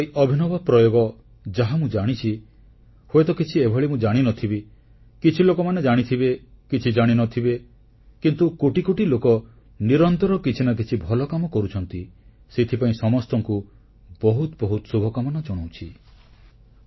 ତାଙ୍କର ଏହି ଅଭିନବ ପ୍ରୟୋଗ ଯାହା ମୁଁ ଜାଣିଛି ହୁଏତ କିଛି ଏଭଳି ମୁଁ ଜାଣିନଥିବି କିଛି ଲୋକମାନେ ଜାଣିଥିବେ କିଛି ଜାଣିନଥିବେ କିନ୍ତୁ କୋଟି କୋଟି ଲୋକ ନିରନ୍ତର କିଛି ନା କିଛି ଭଲକାମ କରୁଛନ୍ତି ସେଥିପାଇଁ ସମସ୍ତଙ୍କୁ ବହୁତ ବହୁତ ଶୁଭକାମନା ଜଣାଉଛି